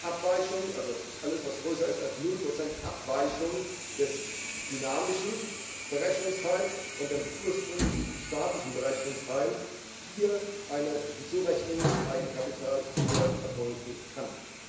Abweichung also alles, was größer ist als 0 Abweichung des dynamischen Berechnungsteils von dem ursprünglichen statischen Berechnungsteils hier wieder eine Hinzurechnung zum Eigenkapital erfolgen kann.